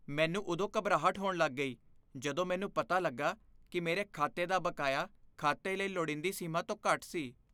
ਮੈਨੂੰ ਉਦੋਂ ਘਬਰਾਹਟ ਹੋਣ ਲੱਗ ਗਈ ਜਦੋਂ ਮੈਨੂੰ ਪਤਾ ਲੱਗਾ ਕਿ ਮੇਰੇ ਖਾਤੇ ਦਾ ਬਕਾਇਆ ਖਾਤੇ ਲਈ ਲੋੜੀਦੀ ਸੀਮਾ ਤੋਂ ਘੱਟ ਸੀ।